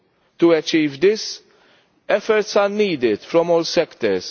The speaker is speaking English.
To achieve this, efforts are needed from all sectors.